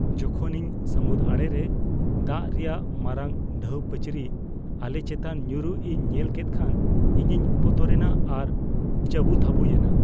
ᱡᱤᱠᱷᱚᱱ ᱤᱧ ᱥᱟᱹᱢᱩᱫ ᱟᱲᱮ ᱨᱮ ᱫᱟᱜ ᱨᱮᱭᱟᱜ ᱢᱟᱨᱟᱝ ᱰᱷᱟᱹᱣ ᱯᱟᱹᱪᱨᱤ ᱟᱞᱮ ᱪᱮᱛᱟᱱ ᱧᱩᱨᱩᱜ ᱤᱧ ᱧᱮᱞ ᱠᱮᱫ ᱠᱷᱟᱱ ᱤᱧᱤᱧ ᱵᱚᱛᱚᱨᱮᱱᱟ ᱟᱨ ᱡᱟᱹᱵᱩᱛᱷᱟᱹᱵᱩᱭᱮᱱᱟ ᱾